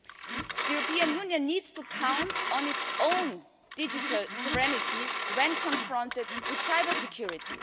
The European Union needs to count on its own digital serenity when confronted with cybersecurity.